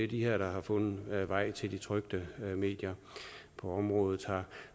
de her der har fundet vej til de trykte medier på området